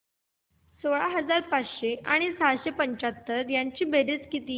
सोळा हजार पाचशे आणि सहाशे पंच्याहत्तर ची बेरीज किती